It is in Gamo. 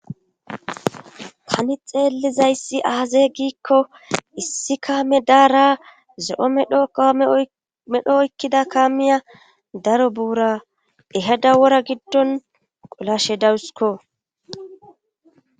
Tani xeelizayssi aazee giikko issi kaame daara ze7o medo qaome medho oykkida kaamiya daro buura ehada wora giddon qolashe dawusiko